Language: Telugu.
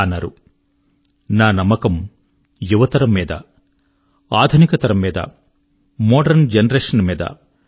వారన్నారు నా నమ్మకం యువతరం మీద ఆధునిక తరం మీద మోడరన్ జెనరేషన్ మీద